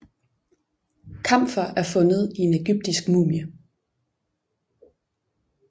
Kamfer er fundet i en egyptisk mumie